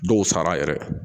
Dɔw sara yɛrɛ